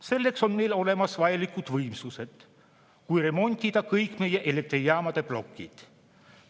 Selleks on meil olemas vajalikud võimsused, kui remontida kõik meie elektrijaamade plokid.